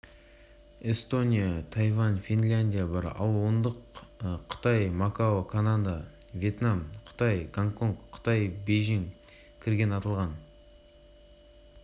білім беру жетістіктерін бағалайтын халықаралық бағдарлама бұл рейтингті халықаралық тестілеу негізде жасаған экономикалық ынтымақтастық және даму